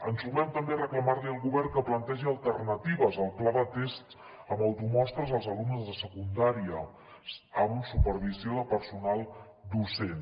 ens sumem també a reclamar li al govern que plantegi alternatives al pla de tests amb automostres als alumnes de secundària amb supervisió de personal docent